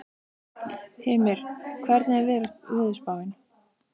Hymir, hvernig er veðurspáin?